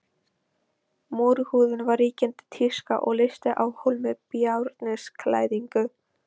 Múrhúðun var ríkjandi tíska og leysti af hólmi bárujárnsklæðningu.